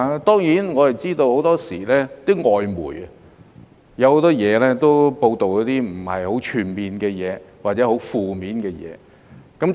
當然，我們知道很多時候外媒有很多報道並不全面或者是很負面的事情。